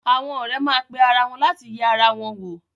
Àwọn ọ̀rẹ́ má pe ara wọn láti yẹ ara wọn wò.